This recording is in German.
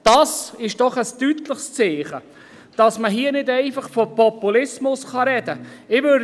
Das ist doch ein deutliches Zeichen, dass man hier nicht einfach von Populismus sprechen kann.